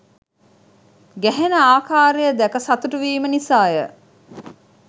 ගැහෙන ආකාරය දැක සතුටුවීම නිසාය.